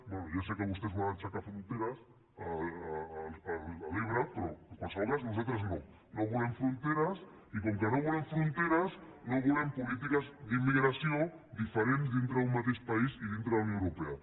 bé ja sé que vostès volen aixecar fronteres a l’ebre però en qualsevol cas nosaltres no no volem fronteres i com que no volem fronteres no volem polítiques d’immigració diferents dintre d’un mateix país i dintre de la unió europea